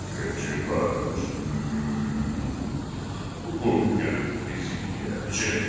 Keçi qardaş, Qurd gəlib bizi yeyəcək.